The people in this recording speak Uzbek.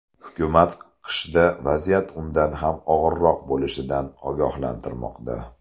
Hukumat qishda vaziyat undan ham og‘irroq bo‘lishidan ogohlantirmoqda.